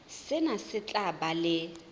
sena se tla ba le